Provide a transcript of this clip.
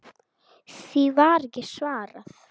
Því var ekki svarað.